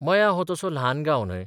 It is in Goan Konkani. मयां हो तसो ल्हान गांव न्हय.